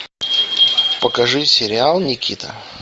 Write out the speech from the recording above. покажи сериал никита